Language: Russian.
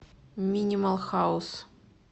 минимал хаус